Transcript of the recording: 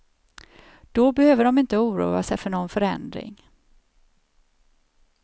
Då behöver de inte oroa sig för någon förändring.